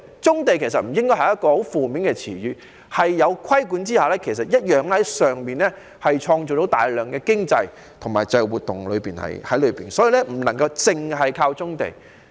棕地不應是一個很負面的詞語，在規管下同樣可以從棕地中創造大量經濟活動，所以不能單靠棕地。